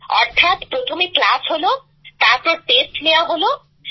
অর্থাৎ প্রথমে ক্লাস হলো তারপর টেস্ট নেওয়া হলো